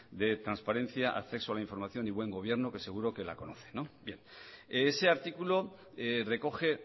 de transparencia de acceso a la información y buen gobierno que seguro que la conoce bien ese artículo recoge